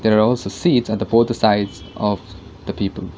here are also seats at the both the sides of the people